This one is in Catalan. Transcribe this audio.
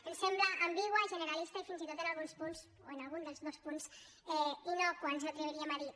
ens sembla ambigua genera·lista i fins i tot en alguns punts o en algun dels dos punts innòcua ens atreviríem a dir